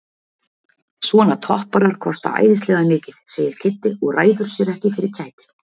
Svona topparar kosta æðislega mikið segir Kiddi og ræður sér ekki fyrir kæti.